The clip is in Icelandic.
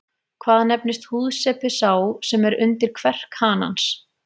Hvað nefnist húðsepi sá sem er undir kverk hanans?